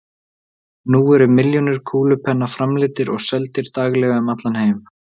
Nú eru milljónir kúlupenna framleiddir og seldir daglega um allan heim.